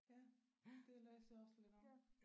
Ja det læste jeg også lidt om